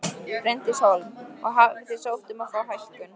Bryndís Hólm: Og hafið þið sótt um að fá hækkun?